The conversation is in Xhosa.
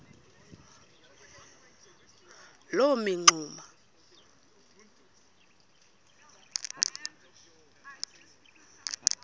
loo mingxuma iba